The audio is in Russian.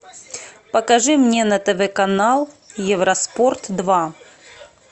покажи мне на тв канал евроспорт два